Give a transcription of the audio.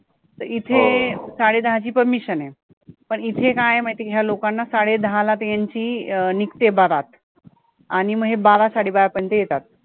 तर इथे साडे दहाची permission आहे पण इथे काय आहे माहिती ये का ह्या लोकांना त्यांची निघते बारात आणि म हे बारा साडे बारा पर्यन्त येतात